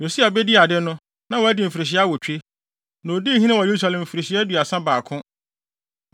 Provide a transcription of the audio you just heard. Yosia bedii ade no, na wadi mfirihyia awotwe, na odii hene wɔ Yerusalem mfirihyia aduasa baako.